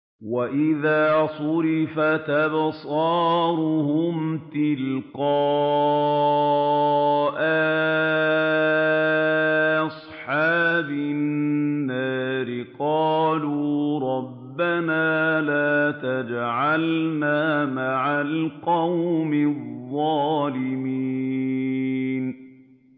۞ وَإِذَا صُرِفَتْ أَبْصَارُهُمْ تِلْقَاءَ أَصْحَابِ النَّارِ قَالُوا رَبَّنَا لَا تَجْعَلْنَا مَعَ الْقَوْمِ الظَّالِمِينَ